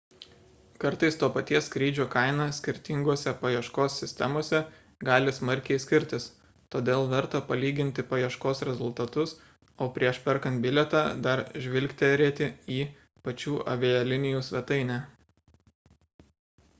kartais to paties skrydžio kaina skirtinguose paieškos sistemose gali smarkiai skirtis todėl verta palyginti paieškos rezultatus o prieš perkant bilietą dar žvilgterėti į pačių avialinijų svetainę